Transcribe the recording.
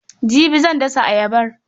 Jibi zan dasa ayabar.